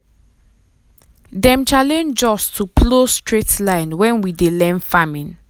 dem challenge us um to plow straight line when we dey learn farming.